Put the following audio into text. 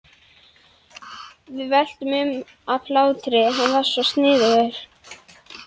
Við veltumst um af hlátri, hann var svo sniðugur.